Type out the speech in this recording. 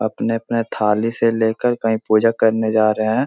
अपने-अपने थाली से लेकर कहीं पूजा करने जा रहें हैं।